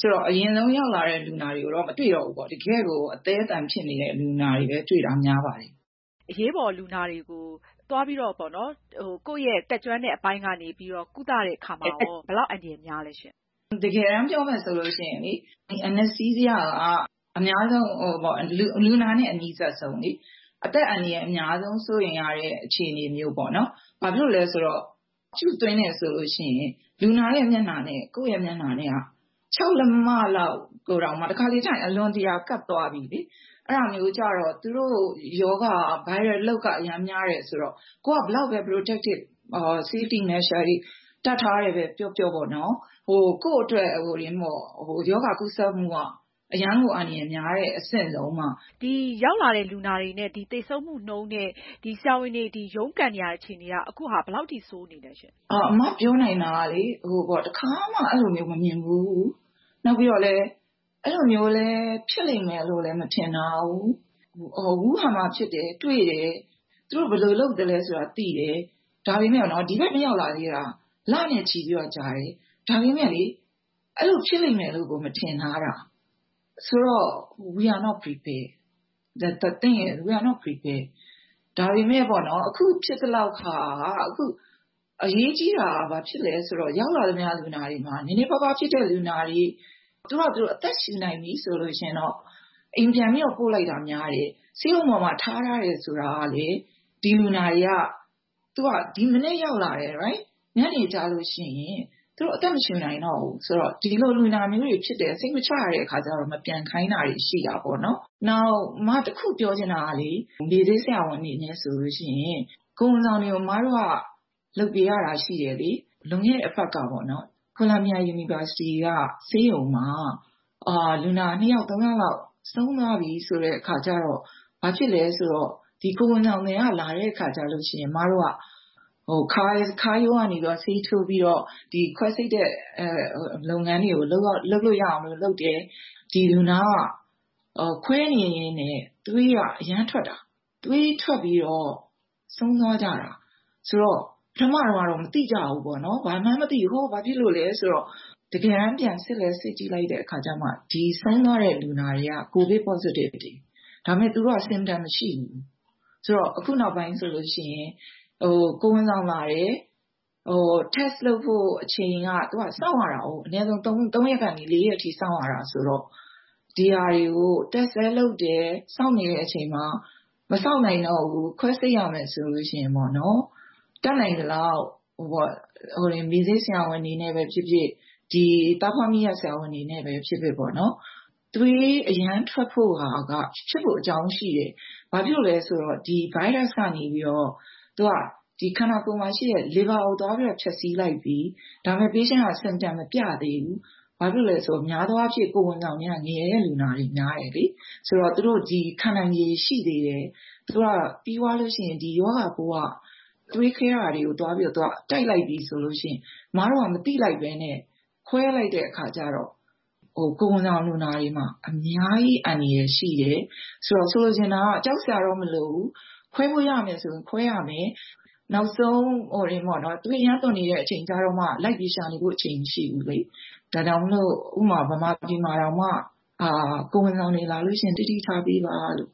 ဆိုတော့ အရင်ဆုံးရောက်လာတဲ့ လူနာတွေကိုတော့ မတွေ့တော့ဘူးပေါ့။ တကယ့်ကို အသည်းအသန်ဖြစ်တဲ့လူနာတွေပဲ များပါတယ်။ မအင်ကြင်းနိုင်။ ။ အရေးပေါ်လူနာတွေကို ကိုယ့်တတ်ကျွမ်းတဲ့ အပိုင်းကနေပြီးတော့ ကုသတဲ့အခါမှာ ဘယ်လောက် အန္တရာယ်များသလဲရှင့်။ ဒေါက်တာ ဒေါ်နီနီခင်။ ။ တကယ်တမ်းပြောမယ်ဆိုရင် အများဆုံး လူနာနဲ့ အနီးစပ်ဆုံးလေ။ အသက်အန္တရာယ်အများဆုံး စိုးရိမ်ရတဲ့ အခြေအနေမျိုးပေါ့နော်။ ဘာဖြစ်လို့လဲဆိုတော့ Tube သွင်းတယ်ဆိုရင် လူနာမျက်နှာနဲ့ ကိုယ့်မျက်နှာက ၆ လက်မလောက် ၊ တခါတလေကျရင် အလွန်ကပ်သွားပြီလေ။ အဲဒါမျိုးကျတော့ သူတု့ိရောဂါ အရမ်းများတယ်ဆိုတော့ ကိုယ်က ဘယ်လောက်ပဲ Protective ၊ safety တွေ တပ်ထားတယ်ပဲပြောပြော ကိုယ့်အတွက် ရောဂါ ကူးစပ်မှုက အရမ်းကို အန္တရာယ် များတဲ့အဆင့်ပေါ့နော်။ မအင်ကြင်းနိုင်။ ။ ရောက်လာတဲ့လူနာတွေနဲ့ သေဆုံးမှုနှုန်းနဲ့ ဆရာဝန်တွေ ရုန်းကန်နေရတာက ဘယ်လောက်အထိ ဆိုးနေသလဲရှင့်။ ဒေါက်တာ ဒေါ်နီနီခင်။ ။ အမပြောနိုင်တာကလေ တခါမှ အဲလို မမြင်ဖူးဘူး။ နောက်ပြီးတော့ အဲဒါမျိုးလည်း ဖြစ်လိမ့်မယ် မထင်ထားဘူး။ ဝူဟန်မှာ ဖြစ်တယ်၊ တွေ့တယ် သူတို့ဘယ်လိုလုပ်သလဲဆိုတာ သိတယ်။ ဒါပေမယ့် ဒီဘက် မရောက်လာသေးတာ လနဲ့ ချီပြီး ကြာတယ်။ ဒါပေမယ့် အဲဒါမျိုးလည်း ဖြစ်လိမ့်မယ် မထင်ထားဘူး။ ဆိုတော့ We are not prepared။ ဒါပေမယ့် အခုဖြစ်သလောက်ဟာက အရေးကြီးတာက ဘာဖြစ်သလဲဆိုတော့ ရောက်လာသမျှ လူနာတွေမှာ နည်းနည်းပါးပါး ဖြစ်တဲ့လူနာတွေ သူတို့ဟာသူတို့ အသက်ရှုနိုင်ပြီဆိုရင်တော့ အိမ်ပြန်ပြီးတော့ ပို့လိုက်တာများတယ်။ ဆေးရုံပေါ်မှာ ထားတယ်ဆိုတာကလည်း ဒီလူနာတွေက ဒီမနက်ရောက်လာတယ် ၊ ညနေကျရင် သူတို့အသက်မရှုနိုင်တော့ဘူး ဒီလိုလူနာတွေဖြစ်တယ်၊ စိတ်မချရတဲ့အခါကျတော့ မပြန်ခိုင်းတာတွေ ရှိတာပေါ့နော်။ နောက်တခုပြောချင်တာက မေ့ဆေးဆရာဝန်တွေအနေနဲ့ဆိုရင် ကိုယ်ဝန်ဆောင်တွေကို အမတို့ လုပ်ပေးရတာရှိတယ်လေ။ လွန်ခဲ့တဲ့အပတ်က ကိုလမ်ဘီယာ University ဆေးရုံမှာ လူနာ ၂ ယောက် ၃ ယောက်လောက် ဆုံးသွားပြီဆိုတဲ့အခါကျတော့ ဘာဖြစ်သလဲဆိုတော့ ကိုယ်ဝန်ဆောင်တွေ လာတဲ့အခါကျရင် အမတို့က ခါးရိုးကနေ ဆေးထိုးပြီးတော့ ခွဲစိတ်တဲ့လုပ်ငန်းတွေကို လုပ်လို့ရအောင်လုပ်တယ်။ ဒီလူနာက ခွဲနေရင်းနဲ့ သွေးက အရမ်းထွက်တာ ၊ သွေးထွက်ပြီးတော့ ဆုံးသွားကြတာ။ ဆိုတော့ ပထမတော့ မသိကြဘူးပေါ့နော် ၊ ဘာမှန်မသိ ဘာဖြစ်လို့လဲဆိုတော့တကယ်တမ်းပြန်စစ်လိုက်တော့ ဆုံးသွားတဲ့ လူနာတွေက COVID positive တွေ ဒါပေမယ့် သူတို့က ရောဂါလက္ခဏာမရှိဘူး။ အခုနောက်ပိုင်းဆိုရင် ကိုယ်ဝန်ဆောင်လာတယ် Test လုပ်ဖို့ အချိန်က သူက စောင့်ရတာကို အနည်းဆုံး ၃ ရက်ကနေ ၄ ရက်အထိ စောင့်ရတာဆိုတော့ ဒါတွေကို Test လည်းလုပ်တယ် စောင့်နေတဲ့အချိန်မှာ မစောင့်နိုင်တော့ဘူး ခွဲစိတ်ရတော့မယ်ဆိုရင် တတ်နိုင်သလောက် မေ့ဆေးဆရာဝန်တွေနဲ့ပဲဖြစ်ဖြစ် ၊ သားဖွားမီးယပ် ဆရာဝန်တွေနဲ့ပဲ ဖြစ်ဖြစ် သွေးအရမ်းထွက်ဖို့က ဖြစ်ဖို့အကြောင်းရှိတယ် ဘာဖြစ်လို့လဲဆိုတော့ Virus ကနေပြီးတော့ ခန္ဓာကိုယ်မှာရှိတဲ့ liver ကို သွားပြီးတော့ ဖျက်ဆီးလိုက်ပြီ ၊ ဒါပေမယ့် လူနာက လက္ခဏာ မပြသေးဘူး။ များသောအားဖြင့် ကိုယ်ဝန်ဆောင်တွေက ငယ်တဲ့ လူနာတွေ များတယ်၊ ခံနိုင်ရည်ရှိသေးတယ် ။ ဒါပေမယ့် ရောဂါပိုးက သွေးခဲတာတွေကို တိုက်လိုက်ပြီဆိုရင် အမတို့က မသိလိုက်ပဲနဲ့ ခွဲလိုက်တဲ့အခါကျတော့ ကိုယ်ဝန်ဆောင်လူနာတွေမှာ အများကြီး အန္တရာယ်ရှိတယ်။ ဆိုတော့ ဆိုလိုချင်တာက ကြောက်စရာတော့မလိုဘူး ၊ ခွဲလို့ရမယ်ဆိုရင် ခွဲရမယ် ။ နောက်ဆုံး သွေးအရမ်းထွက်များနေတဲ့ အချိန်ကျမှလိုက်ရှာနေဖို့ အချိန်မရှိဘူးလေ။ ဒါကြောင့်မို့လို့ မြန်မာပြည်မှာတောင်မှ ကိုယ်ဝန်ဆောင်တွေလာရင် သတိထားပေးပါလို့